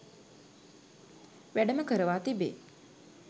වැඩම කරවා තිබේ.